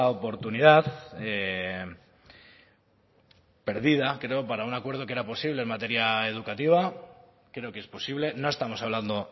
oportunidad perdida creo para un acuerdo que era posible en materia educativa creo que es posible no estamos hablando